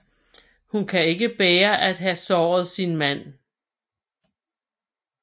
Hun kan ikke bære at have såret sin mand